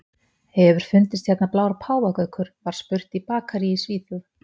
Hefur fundist hérna blár páfagaukur? var spurt í bakaríi í Svíþjóð.